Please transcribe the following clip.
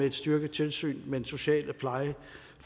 et styrket tilsyn med den sociale